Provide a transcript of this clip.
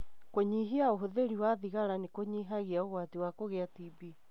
Kũnyihia ũhũthĩri wa thigara nĩ kũnyihagia ũgwati wa kũgĩa TB.